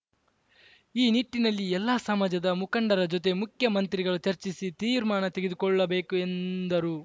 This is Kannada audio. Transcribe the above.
ಈ ನಿಟ್ಟಿನಲ್ಲಿ ಎಲ್ಲಾ ಸಮಾಜದ ಮುಖಂಡರ ಜೊತೆ ಮುಖ್ಯಮಂತ್ರಿಗಳು ಚರ್ಚಿಸಿ ತೀರ್ಮಾನ ತೆಗೆದುಕೊಳ್ಳ ಬೇಕು ಎಂದರು